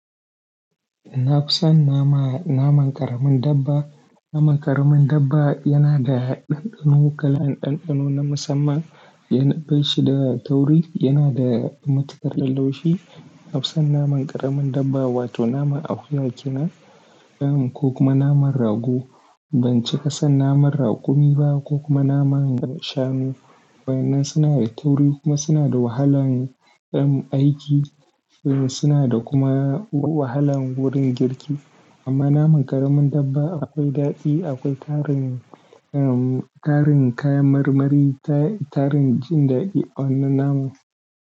Na fi son na ma naman ƙaramin dabba. Naman ƙaramin dabba yana da ɗanɗano, kalan ɗanɗano na musamman, yana bai shi da tauri, yana da matukar ɗanɗanon shi. Na fi son naman ƙaramin dabba wato naman akuya, kenan ko kuma naman rago. Ban cika son naman raƙumi ba ko kuma naman shanu. Waɗannan suna da tauri kuma suna da wahalan ɗan aiki, suna da kuma wahalan wurin girki. Amma naman ƙaramin dabba akwai daɗi, akwai tarin, tarin kayan marmari, tarin jin da awannan naman.